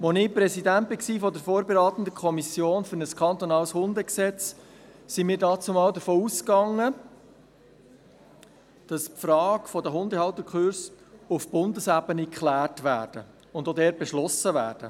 Als ich Präsident der vorberatenden Kommission für ein kantonales Hundegesetz war, gingen wir damals davon aus, dass die Frage der Hundehalterkurse auf Bundesebene geklärt und auch dort beschlossen wird.